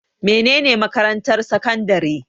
Mene ne makarantar sakandare?